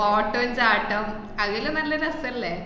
ഓട്ടോം ചാട്ടം അതെല്ലാം നല്ല രസല്ലേ?